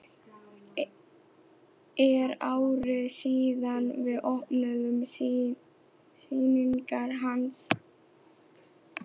Er ári síðar við opnun sýningar hans.